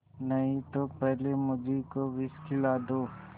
नहीं तो पहले मुझी को विष खिला दो